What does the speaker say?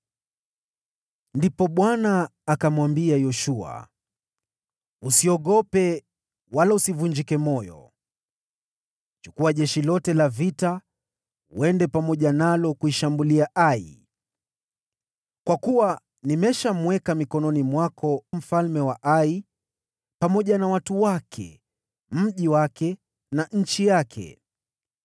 Ndipo Bwana akamwambia Yoshua, “Usiogope, wala usivunjike moyo. Chukua jeshi lote la vita uende pamoja nalo kuishambulia Ai. Kwa kuwa nimeshamweka mikononi mwako mfalme wa Ai, pamoja na watu wake, mji wake na nchi yake.